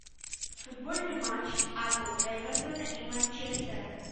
футбольный матч апл эвертона и манчестера